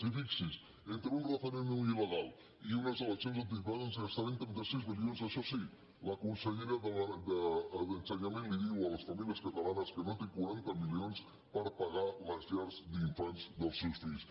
i fixi’s entre un referèndum ileleccions anticipades ens gastarem trenta sis milions això sí la consellera d’ensenyament diu a les famílies catalanes que no té quaranta milions per pagar les llars d’infants dels seus fills